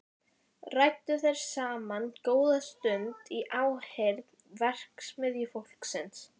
Þau felldu talið þegar skemmtiatriðin byrjuðu.